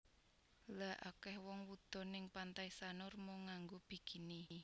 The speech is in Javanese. Lha akeh wong wudo ning Pantai Sanur mung nganggo bikini